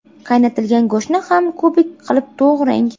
Qaynatilgan go‘shtni ham kubik qilib to‘g‘rang.